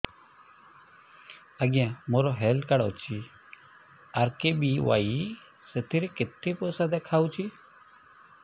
ଆଜ୍ଞା ମୋର health card ଅଛି ଆର୍.କେ.ବି.ୱାଇ ସେଥିରେ କେତେ ପଇସା ଦେଖଉଛି